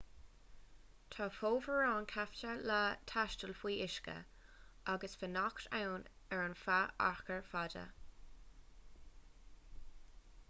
tá fomhuireáin ceaptha le taisteal faoi uisce agus fanacht ann ar feadh achar fada